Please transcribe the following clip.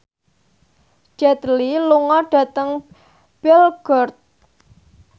Jet Li lunga dhateng Belgorod